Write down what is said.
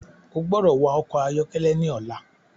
O gbọdọ wa ọkọ ayọkẹlẹ ní ọla!